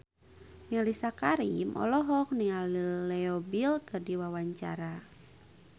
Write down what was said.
Mellisa Karim olohok ningali Leo Bill keur diwawancara